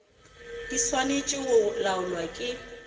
di swanetše go laolwa ke